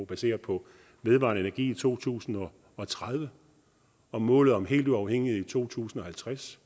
baseres på vedvarende energi i to tusind og tredive og målet om helt uafhængige i to tusind og halvtreds